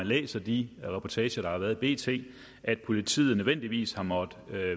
læser de reportager der har været i bt at politiet nødvendigvis har måttet